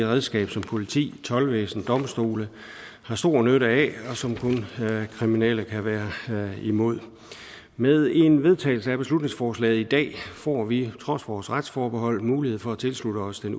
redskab som politi toldvæsen og domstole har stor nytte af og som kun kriminelle kan være imod med en vedtagelse af beslutningsforslaget i dag får vi trods vores retsforbehold mulighed for at tilslutte os det